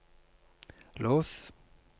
lås